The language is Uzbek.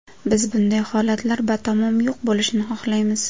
Biz bunday holatlar batamom yo‘q bo‘lishini xohlaymiz.